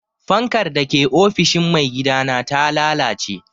Fankar da ke ofishin maigidana ta lalace.